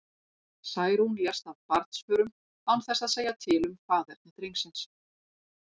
Særún lést af barnsförum, án þess að segja til um faðerni drengsins.